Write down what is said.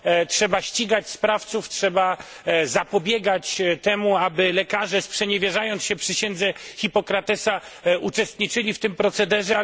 Trzeba ścigać sprawców, trzeba zapobiegać temu, aby lekarze, sprzeniewierzając się przysiędze Hipokratesa, uczestniczyli w tym procederze.